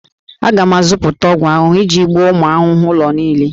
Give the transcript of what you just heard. Aga m azụta ọgwụ ahụhụ iji gbuo ụmụ ahụhụ ụlọ niile